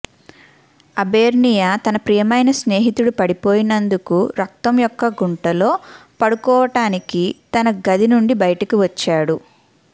అబెర్నియా తన ప్రియమైన స్నేహితుడు పడిపోయినందుకు రక్తం యొక్క గుంటలో పడుకోవటానికి తన గది నుండి బయటికి వచ్చాడు